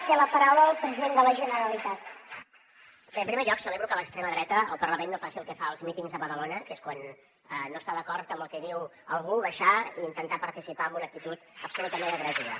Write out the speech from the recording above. bé en primer lloc celebro que l’extrema dreta al parlament no faci el que fa als mítings de badalona que és quan no està d’acord amb el que diu algú baixar i intentar participar amb una actitud absolutament agressiva